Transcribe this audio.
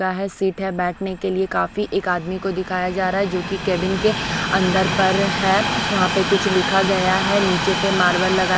वह सीट हैं बैठने के लिए काफी एक आदमी को दिखाया जा रहा हैं जो की केबिन के अंदर पर हैं वहाँ पे कुछ लिखा गया हैं नीचे पे मार्बल लगा--